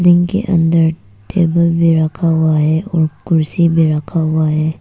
इनके अंदर टेबल में रखा हुआ है और कुर्सी में रखा हुआ है।